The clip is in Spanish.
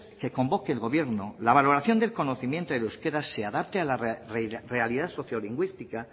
que convoque el gobierno la valoración del conocimiento del euskera se adapte a la realidad socio lingüística